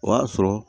O y'a sɔrɔ